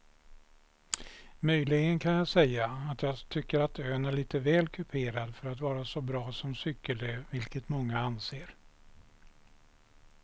Möjligen kan jag säga att jag tycker att ön är lite väl kuperad för att vara så bra som cykelö vilket många anser.